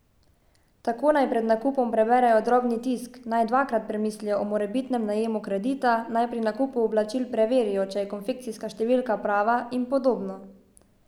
Tako naj pred nakupom preberejo drobni tisk, naj dvakrat premislijo o morebitnem najemu kredita, naj pri nakupu oblačil preverijo, če je konfekcijska številka prava, in podobno.